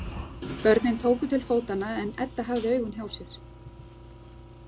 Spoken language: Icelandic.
Börnin tóku til fótanna en Edda hafði augun hjá sér.